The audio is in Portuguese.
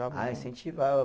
Ah, incentivava.